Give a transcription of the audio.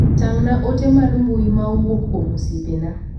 Tang' na ote mar mbui ma owuok kuom osiepena.